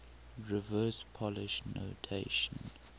reverse polish notation